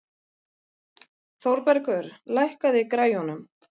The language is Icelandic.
Þórbergur, lækkaðu í græjunum.